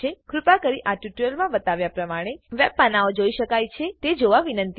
કૃપા કરી આ ટ્યુટોરીયલ માં બતાવ્યા પ્રમાણે બધા વેબ પાનાંઓ જોઈ શકાય છે તે જોવા વિનંતી છે